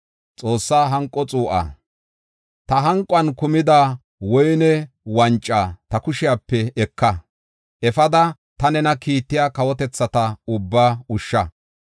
“Ta hanquwan kumida woyne wanca ta kushepe eka. Efada ta nena kiittiya kawotethata ubbaa ushsha.